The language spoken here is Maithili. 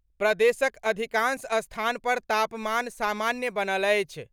प्रदेशक अधिकांश स्थान पर तापमान सामान्य बनल अछि।